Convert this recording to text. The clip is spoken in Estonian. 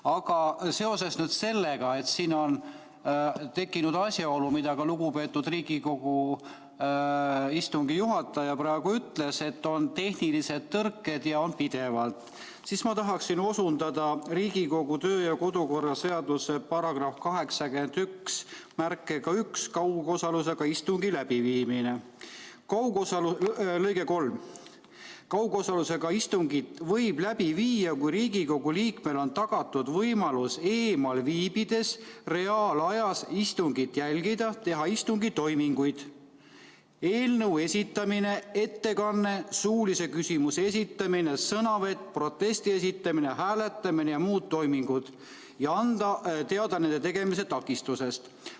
Aga seoses sellega, et siin on tekkinud asjaolu, millele ka lugupeetud Riigikogu istungi juhataja, et on pidevad tehnilised tõrked, siis ma tahaksin osundada Riigikogu kodu- ja töökorra seaduse § 891 "Kaugosalusega istungi läbiviimine" lõikele 3: "Kaugosalusega istungi võib läbi viia, kui Riigikogu liikmele on tagatud võimalus eemal viibides reaalajas istungit jälgida, teha istungi toiminguid ja anda teada nende tegemise takistusest.